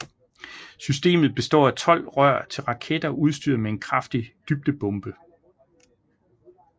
Systemet består af tolv rør til raketter udstyret med en kraftig dybdebombe